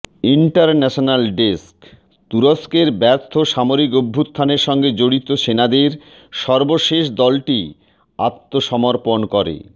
international desk তুরস্কের ব্যর্থ সামরিক অভ্যুত্থানের সঙ্গে জড়িত সেনাদের সর্বশেষ দলটি আত্মসমর্পণ করে